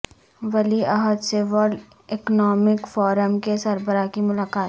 ولی عہد سے ورلڈ اکنامک فورم کے سربراہ کی ملاقات